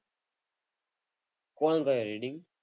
કોણ કરે reading?